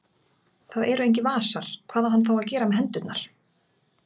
Það eru engir vasar, hvað á hann þá að gera með hendurnar?